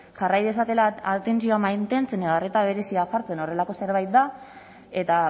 jarrai dezatela atentzioa mantentzen edo arreta berezia jartzen horrelako zerbait da eta